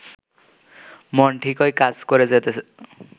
মন ঠিকই কাজ করে যেত